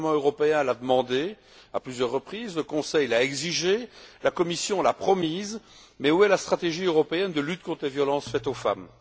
Le Parlement européen l'a demandée à plusieurs reprises, le Conseil l'a exigée, la Commission l'a promise, mais où est la stratégie européenne de lutte contre les violences faites aux femmes?